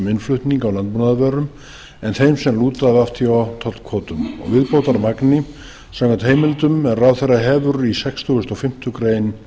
innflutning á landbúnaðarvörum en þeim sem lúta að wto tollkvótum og viðbótarmagni samkvæmt heimildum er ráðherra hefur í sextugasta og fimmtu grein